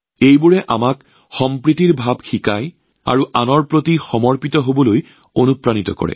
তেওঁলোকে আমাক সহজ সুষম আৰু আনৰ প্ৰতি নিষ্ঠাবান হবলৈ অনুপ্ৰাণিত কৰে